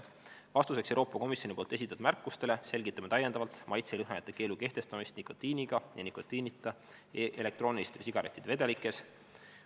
"Vastuseks Euroopa Komisjoni poolt esitatud märkustele selgitame täiendavalt maitse- ja lõhnaainete keelu kehtestamist nikotiiniga ja nikotiinita elektrooniliste sigarettide vedelikes.